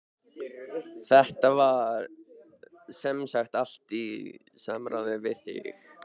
Þetta var semsagt allt í samráði við þig?